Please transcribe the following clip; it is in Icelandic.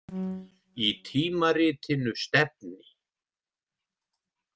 Í tímaritinu Stefni.